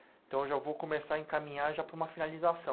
Então, eu já vou começar a encaminhar já para uma finalização.